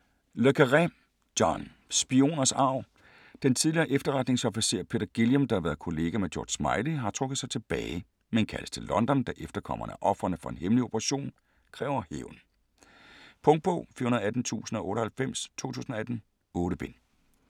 Le Carré, John: Spioners arv Den tidligere efterretningsofficer Peter Guillam, der har været kollega med George Smiley, har trukket sig tilbage, men kaldes til London, da efterkommerne af ofrene for en hemmelig operation kræver hævn. Punktbog 418098 2018. 8 bind.